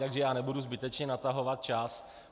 Takže já nebudu zbytečně natahovat čas.